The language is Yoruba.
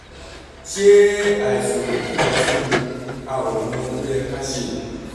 ṣé àìsàn òtútù lásán ni? a ò mọ ohun tó yẹ ká ṣe